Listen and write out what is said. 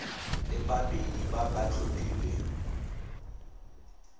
le babedi ba ba tlhophilweng